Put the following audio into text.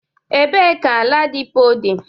Ebe ka Ladipo dị?